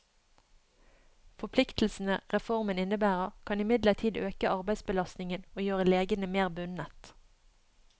Forpliktelsene reformen innebærer, kan imidlertid øke arbeidsbelastningen og gjøre legene mer bundet.